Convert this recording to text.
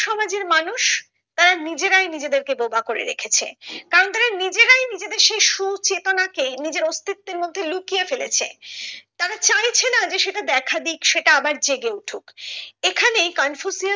নিজেরাই নিজেদের কে বোবা করে রেখেছে কারণ তারা নিজেরাই নিজেদের সেই সুচেতনাকে নিজের অস্তিত্বের মধ্যে লুকিয়ে ফেলেছে তারা চাইছে না যে সেটা দেখা দিক সেটা আবার জেগে উঠুক এখানে কনফুসিয়াস